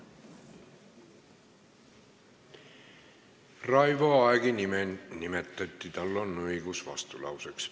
Raivo Aegi nime nimetati ja tal on õigus vastulauseks.